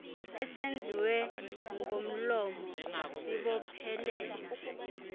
esenziwe ngomlomo sibophelela